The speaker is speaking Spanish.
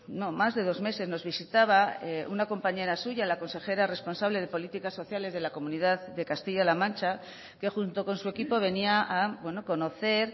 no más de dos meses nos visitaba una compañera suya la consejera responsable de políticas sociales de la comunidad de castilla la mancha que junto con su equipo venía a conocer